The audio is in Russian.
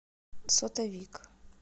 сотовик